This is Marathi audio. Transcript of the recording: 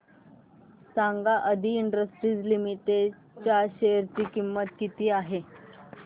सांगा आदी इंडस्ट्रीज लिमिटेड च्या शेअर ची किंमत किती आहे